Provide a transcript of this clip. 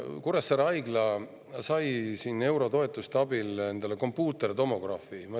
Kuressaare Haigla sai eurotoetuste abil endale kompuutertomograafi.